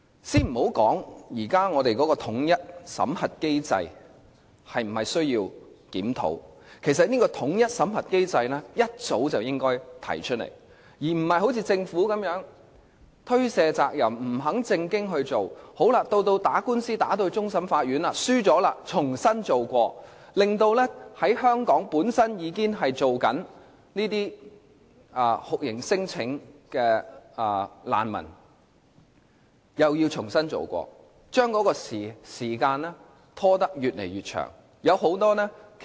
先別說現時本港的統一審核機制是否需要檢討，其實這個機制早應該提出來，而不是好像政府般推卸責任，不肯正視問題，到官司被上訴至終審法院敗訴後又要重新再做工作，而香港本身已經提出酷刑聲請的難民又要重新再做，結果時間拖得越來越長。